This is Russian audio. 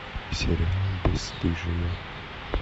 сериал бесстыжие